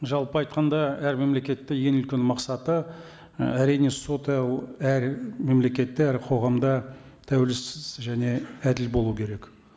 жалпы айтқанда әр мемлекетте ең үлкен мақсаты ы әрине соты әр мемлекетте әр қоғамда тәуелсіз және әділ болу керек